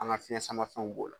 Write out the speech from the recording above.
An fiɲɛ samafɛnw b'o la